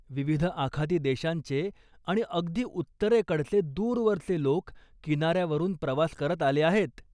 विविध आखाती देशांचे आणि अगदी उत्तरेकडचे दूरवरचे लोक किनाऱ्यावरून प्रवास करत आले आहेत.